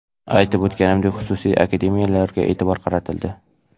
Aytib o‘tganimdek, xususiy akademiyalarga e’tibor qaratildi.